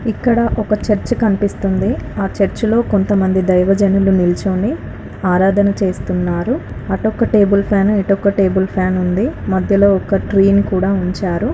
ఇక్కడ ఒక చర్చి కనిపిస్తుంది. ఆ చర్చ లో కొంతమంది దైవజనులు నిలుచుని ఆరాధన చేస్తున్నారు. అటొక టేబుల్ ఫ్యాను ఇటొక టేబుల్ ఫ్యాన్ ఉంది. మధ్యలో ఒక ట్రీ ని కూడా ఉంచారు.